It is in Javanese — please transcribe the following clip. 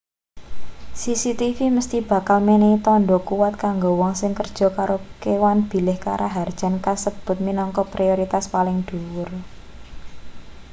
cctv mesthi bakal menehi tandha kuwat kanggo wong sing kerja karo kewan bilih karaharjan kasebut minangka prioritas paling dhuwur